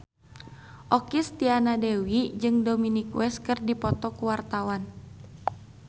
Okky Setiana Dewi jeung Dominic West keur dipoto ku wartawan